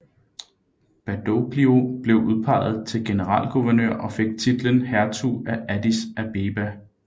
Badoglio blev udpeget til Generalguvernør og fik titlen Hertug af Addis Abeba